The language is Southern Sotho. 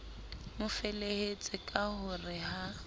mofelehetse ka ho re ha